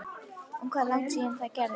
Og hvað er langt síðan það gerðist?